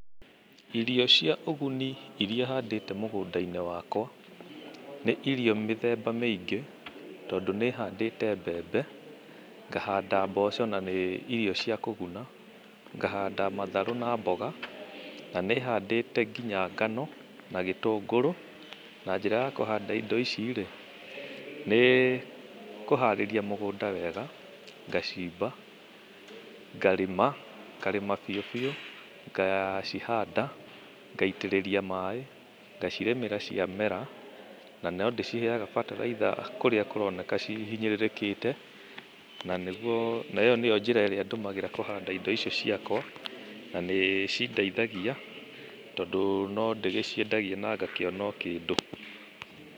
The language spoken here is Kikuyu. Irio cia ũguni irĩa handĩte mũgũnda-inĩ wakwa nĩ irio mĩthemba mĩingĩ, tondũ nĩhandĩte mbembe, ngahanda mboco na nĩ irio cia kũguna, ngahanda matharũ na mboga, na nĩ handĩte nginya ngano na gĩtũngũrũ. Na njĩra ya kũhanda indo icirĩ, nĩ kũharĩria mũgũnda wega, ngacimba, ngarĩma, ngarĩma biũ, ngacihanda, ngaitĩrĩria maĩ, ngacirĩmĩra cia mera, na no ndĩciheaga bataraitha kũrĩa cironeka cihinyĩrĩrĩkite, na ĩyo nĩyo njĩra ĩria hũthagĩra kũhanda indo ici ciakwa na nĩ cindeithagia, tondũ no ndĩciendagia na ngakĩona kĩndũ.